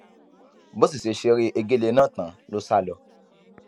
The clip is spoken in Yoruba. bó sì ṣe ṣeré egéle náà tán ló sá lọ